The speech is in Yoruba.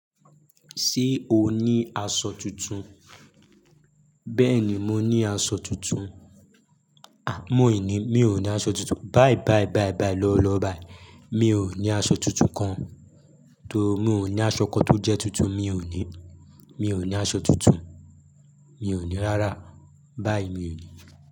Ṣé o ní aṣọ tuntun? Bẹ́ẹ̀ni, mo ní aṣọ tuntun. À, mò ì ní, mi ò ní aṣọ tuntun. Bai bai bai bai lọwo lọwo bai Mi ò ní aṣọ tuntun kan. To, mi ò ní aṣọ kan tó jẹ́ tuntun, mi ò ní. Mi ò ní aṣọ tuntun. Mi ò ní rárá. Bai mi ò ní.